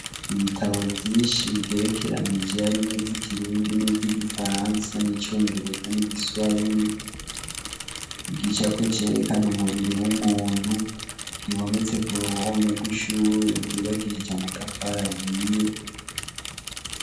Ibitabo vyinshi bigerekeranije harimwo ivy'ikirundi, nivy'igifaransa, n'icongereza, n'igiswahili. Igicapo cerekana umubiri w'umuntu kimanitse ku ruhome rw'ishure ryubakishije amatafari ahiye.